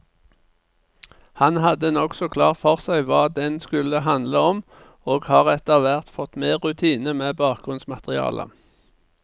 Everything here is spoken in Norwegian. Han hadde nokså klart for seg hva den skulle handle om, og har etterhvert fått mer rutine med bakgrunnsmaterialet.